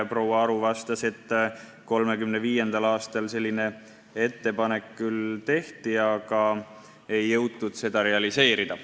Proua Aru vastas, et 1935. aastal selline ettepanek küll tehti, aga ei jõutud seda realiseerida.